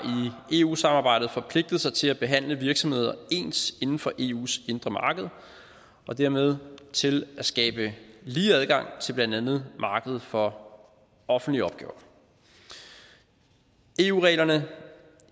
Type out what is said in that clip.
i eu samarbejdet forpligtet sig til at behandle virksomheder ens inden for eus indre marked og dermed til at skabe lige adgang til blandt andet markedet for offentlige opgaver eu reglerne